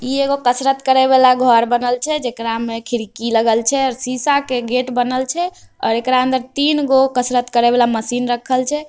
इ एगो कसरत करेवाला घर बनल छे जेकरा मे खिरकी लगल छे सीसा के गेट बनल छे और एकरा अंदर तीनगो कसरत करेवाला मशीन रखल छे |